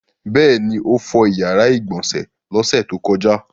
Bẹ́ẹ̀ ni, ó fọ ìyàrá-ìgbọ̀nsẹ̀ lọ́sẹ̀ tó kọjá.